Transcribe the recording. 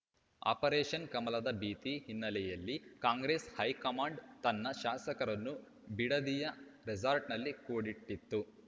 operation ಕಮಲದ ಭೀತಿ ಹಿನ್ನೆಲೆಯಲ್ಲಿ ಕಾಂಗ್ರೆಸ್‌ ಹೈಕಮಾಂಡ್‌ ತನ್ನ ಶಾಸಕರನ್ನು ಬಿಡದಿಯ ರೆಸಾರ್ಟ್‌ನಲ್ಲಿ ಕೂಡಿಟ್ಟಿತ್ತು